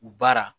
U baara